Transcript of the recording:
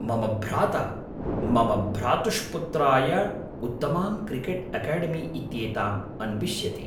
मम भ्राता मम भ्रातुष्पुत्राय उत्तमां क्रिकेट् एकेडेमी इत्येताम् अन्विष्यति।